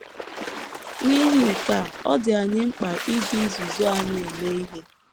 N’ihi nke a, ọ dị anyị mkpa iji izuzu anyị eme ihe.